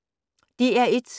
DR1